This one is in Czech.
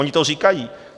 Oni to říkají.